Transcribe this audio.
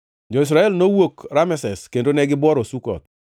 Jo-Israel nowuok Rameses kendo negibuoro Sukoth.